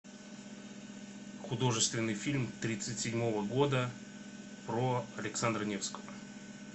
художественный фильм тридцать седьмого года про александра невского